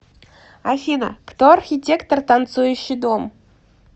афина кто архитектор танцующий дом